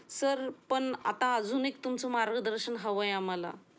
Sir पण आता अजून एक तुमचे मार्गदर्शन हवे आहे आम्हाला.